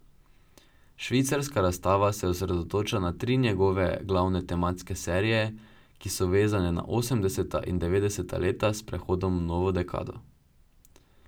Švicarska razstava se osredotoča na tri njegove glavne tematske serije, ki so vezane na osemdeseta in devetdeseta leta s prehodom v novo dekado.